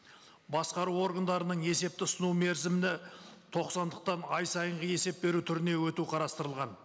басқару органдарының есепті ұсыну мерзімді тоқсандықтан ай сайынғы есеп беру түріне өту қарастырылған